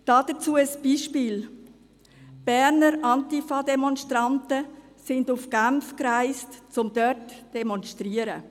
Dazu ein Beispiel: Die Berner Antifa-Demonstranten reisten nach Genf, um dort zu demonstrieren.